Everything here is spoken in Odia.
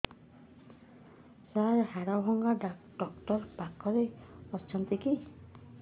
ସାର ହାଡଭଙ୍ଗା ଡକ୍ଟର ପାଖରେ ଅଛନ୍ତି କି